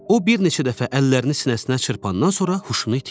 O bir neçə dəfə əllərini sinəsinə çırpandan sonra huşunu itirdi.